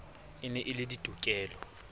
e ne e le diketo